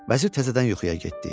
Vəzir təzədən yuxuya getdi.